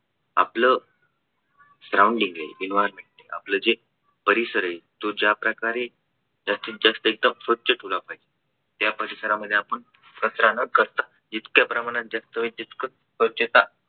आपलं surrounding आहे environment आहे आपला जे परिसर आहे तो ज्याप्रकारे जास्तीत जास्त एकदम स्वच्छ ठेवला पाहिजे. त्या परिसरामध्ये आपण कचरा न करता इतक्या प्रमाणात जितक्या प्रमाणात जितक स्वच्छता